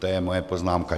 To je moje poznámka.